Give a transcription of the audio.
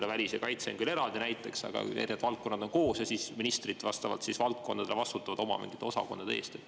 Võib-olla näiteks välis- ja kaitseministeerium on küll eraldi, aga erinevad valdkonnad on koos ja ministrid vastavalt valdkondadele vastutavad oma osakondade eest.